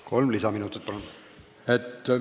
Kolm lisaminutit, palun!